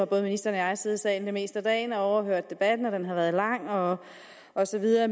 både ministeren og jeg siddet i salen det meste af dagen og overhørt debatten og den har være lang og og så videre